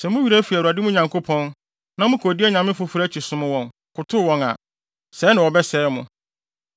Sɛ mo werɛ fi Awurade, mo Nyankopɔn, na mokodi anyame afoforo akyi, som wɔn, kotow wɔn a, sɛe na wɔbɛsɛe mo.